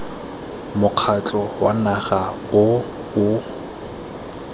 mokgatlho wa naga o o